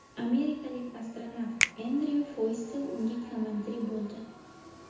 Amerikalik astronavt Endryu Foystel unga komandir bo‘ldi.